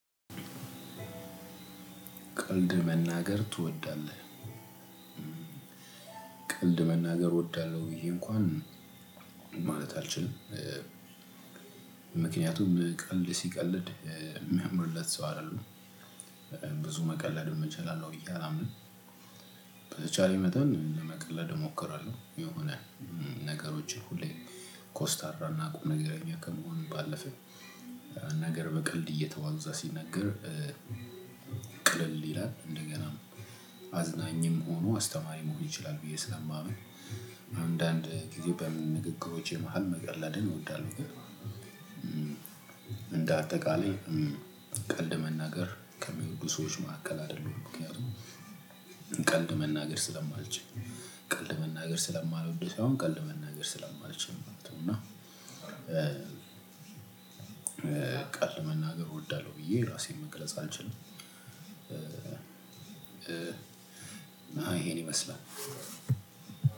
ቀልድ መናገር ትወዳለህ? ቀልድ መናገር እወዳለሁ ይሄ እንኳን ማለት አልችልም ምክንያቱም ቀልድ ሲቀልድ የሚያምርለት ሰው አይደለሁም ብዙ መቀለድም እችላለሁ ብዬ አላምንም በተቻለኝ መጠን ለመቀለድ እሞክራለሁ የሆነ ነገሮችን ሁሌ ኮስታራ ኮስታራና ቁም ነገር ከመሆኑ ባለፈ ነገር በቀልድ እየተዋዛ ሲነገር ቅልል ይላል እንደገናም አዝናኝም ሆኖ አስተማሪ መሆን ይችላል ብዬ ስለማምን አንዳንድ ጊዜ በንግግሮቼ መሃል መቀለድን እወዳለሁ። እንደ አጠቃላይ ቀልድ መናገር ከሚወዱ ሰዎች መካከል አይደሉም ምክንያቱም ቀልድ መናገር ስለማልችል ቀልድ መናገር ስለማልወድ ሳይሆን ቀልድ መናገር ስለማልችል ማለት ነው እና ቀልድ መናገር እወዳለሁ ብዬ ራሴን መግለጽ አልችልም ይሄን ይመስላል።